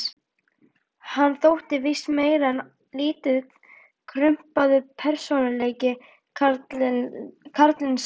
Hann þótti víst meir en lítið krumpaður persónuleiki, karlinn sá.